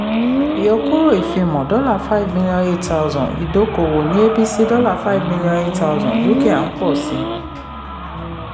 ìyọkúrò ìfimọ́: dollar five million eight thousand; idókòwò ní abc dollar five million eight thousand dúkìá ń pọ̀ sí.